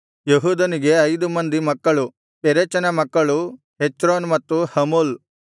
ಯೆಹೂದನಿಗೆ ಐದು ಮಕ್ಕಳು ಪೆರೆಚನ ಮಕ್ಕಳು ಹೆಚ್ರೋನ್ ಮತ್ತು ಹಮೂಲ್